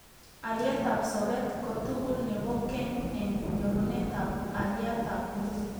Alietab sobet kotugul nebo keny eng nyorunetab aliatab nguni